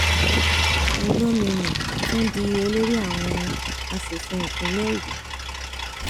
olomini tún di olórí àwọn asòfin ìpínlẹ ogun